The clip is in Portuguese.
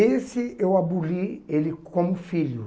Esse eu aboli ele como filho.